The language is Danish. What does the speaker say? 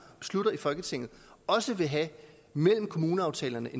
og beslutter i folketinget også mellem kommuneaftalerne